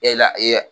E la